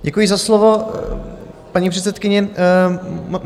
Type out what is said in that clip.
Děkuji za slovo, paní předsedkyně.